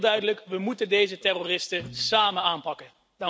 Het lijkt mij duidelijk we moeten deze terroristen samen aanpakken.